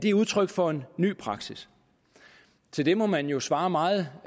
er udtryk for en ny praksis til det må man jo svare meget